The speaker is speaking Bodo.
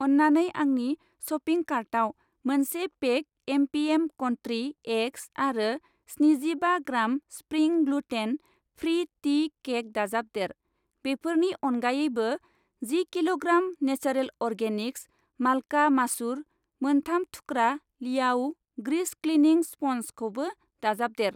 अन्नानै आंनि शपिं कार्टाव मोनसे पेक एमपिएम कन्ट्रि एग्स आरो स्जिनिजिबा gram spring gluten free tea cake दाजाबदेर। बेफोरनि अनगायैबो, जि किल'ग्राम नेचरलेन्ड अर्गेनिक्स माल्का मासुर, मोनथाम थुख्रा लियाओ ग्रिस क्लिनिं स्पन्जखौबो दाजाबदेर।